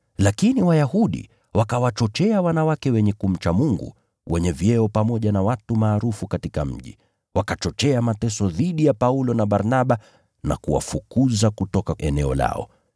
Lakini Wayahudi wakawachochea wanawake wenye kumcha Mungu, wenye vyeo pamoja na watu maarufu katika mji, wakachochea mateso dhidi ya Paulo na Barnaba na kuwafukuza kutoka eneo hilo.